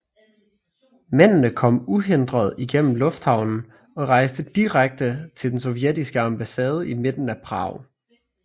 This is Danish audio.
Mændene kom uhindret igennem lufthavnen og rejste direkte til den sovjetiske ambassade i midten af Prag